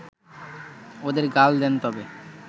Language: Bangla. ওদের গাল দেন তবে